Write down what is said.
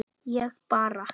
ég bara